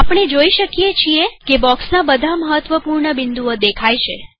આપણે જોઈએ શકીએ છીએ કે બોક્ષના બધા મહત્વપૂર્ણ બિંદુઓ દેખાય છે